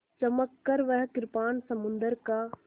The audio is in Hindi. चमककर वह कृपाण समुद्र का